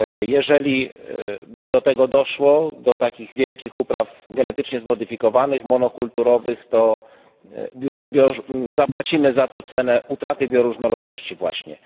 Jeżeli by doszło do takich wielkich upraw genetycznie zmodyfikowanych, monokulturowych, to zapłacimy za to cenę utraty bioróżnorodności właśnie.